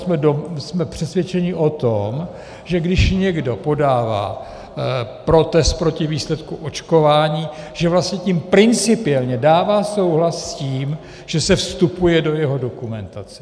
Jsme přesvědčeni o tom, že když někdo podává protest proti výsledku očkování, že vlastně tím principiálně dává souhlas s tím, že se vstupuje do jeho dokumentace.